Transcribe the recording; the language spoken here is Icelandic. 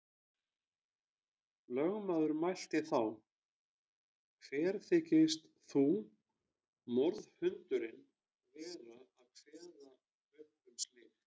Lögmaður mælti þá: Hver þykist þú, morðhundurinn, vera að kveða upp um slíkt.